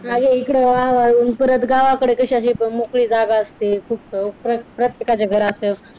अगं इकडे वाळून परत गावाकडे कशी अशी मोकळी जागा असते. प्रत्येकाच्या घराच्या इथे